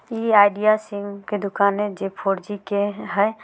इ Idea SIM के दूकान हेय जे फोरजी के हेय।